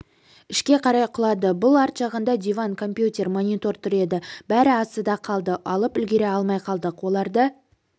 ішке қарай құлады бұл арт жағында диван компьютер монитор тұр еді бәрі астында қалды алып үлгере алмай қалдық оларды